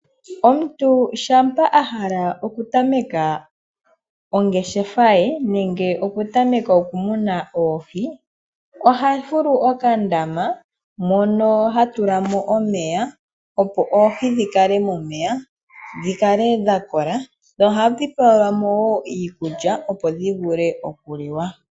Omuntu shampa ahala okutameka ongeshefa ye nenge okutameka okumuna oohi ohafulu okandama mono hatulamo omeya opo oohi dhikale momeya dhilale dhakola dho hadhi pelwamo woo iikulya opo dhivule okuliwa.